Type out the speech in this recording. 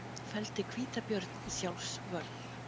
Felldi hvítabjörn í sjálfsvörn